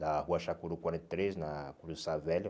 Da rua Chacuru quarenta e três, na Cruz do Sá Velho.